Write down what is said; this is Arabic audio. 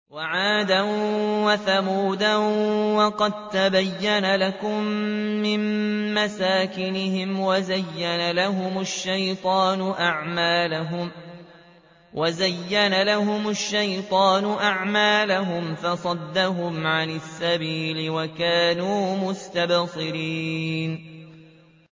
وَعَادًا وَثَمُودَ وَقَد تَّبَيَّنَ لَكُم مِّن مَّسَاكِنِهِمْ ۖ وَزَيَّنَ لَهُمُ الشَّيْطَانُ أَعْمَالَهُمْ فَصَدَّهُمْ عَنِ السَّبِيلِ وَكَانُوا مُسْتَبْصِرِينَ